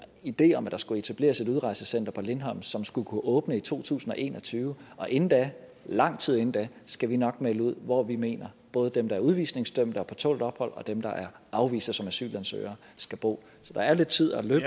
idé om at der skulle etableres et udrejsecenter på lindholm som skulle kunne åbne i to tusind og en og tyve og inden da lang tid inden da skal vi nok melde ud hvor vi mener både dem der er udvisningsdømte og på tålt ophold og dem der er afvist som asylansøgere skal bo så der er lidt tid at løbe